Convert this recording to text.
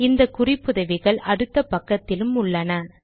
இந்த குறிப்புதவிகள் அடுத்த பக்கத்திலும் உள்ளன